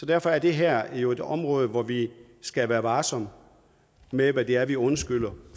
derfor er det her jo et område hvor vi skal være varsomme med hvad det er i fortiden vi undskylder